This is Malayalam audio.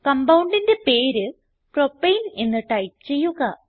Compoundന്റെ പേര് പ്രൊപ്പേൻ എന്ന് ടൈപ്പ് ചെയ്യുക